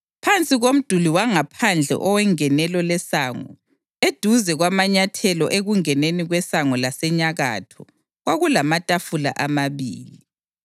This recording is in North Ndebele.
Phansi komduli wangaphandle owengenelo lesango, eduze kwamanyathelo ekungeneni kwesango lasenyakatho kwakulamatafula amabili.